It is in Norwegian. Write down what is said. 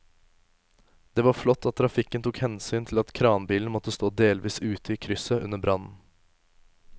Det var flott at trafikken tok hensyn til at kranbilen måtte stå delvis ute i krysset under brannen.